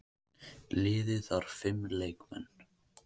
Liðið þarf fimm leikmenn.